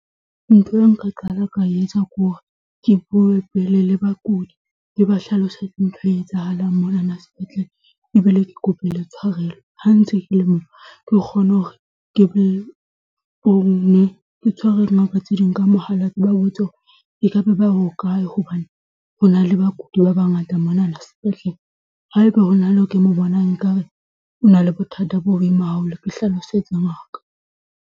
Ntho eo nka qala ka e etsa ke hore ke bue pele le bakudi ke ba hlalosetse ntho e etsahalang monana sepetlele ebile ke kope le tshwarelo. Ha ntse ke le moo, ke kgone hore ke tshwerwe dingaka tse ding ka mohala ke ba botse hore ekaba ba hokae hobane ho na le bakudi ba bangata monana sepetlele. Haeba ho na le eo ke mo bonang, ekare o na le bothata bo boima haholo, ke hlalosetse ngaka.